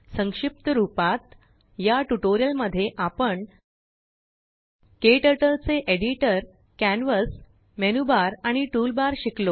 संक्षिप्त रूपात याट्यूटोरियल मध्ये आपण केटरटलचे एडिटर कॅनवास मेनूबार आणि टूलबार शिकलो